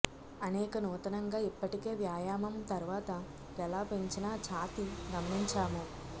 అనేక నూతనంగా ఇప్పటికే వ్యాయామం తర్వాత ఎలా పెంచిన ఛాతీ గమనించాము